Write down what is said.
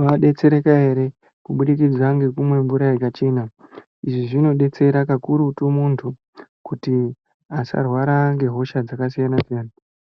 vadetsereka ere kubudikidza ngekumwa mvura yakachena izvi zvinodetsera kakurutu muntu kuti asarwara ngehosha dzakasiyana siyana.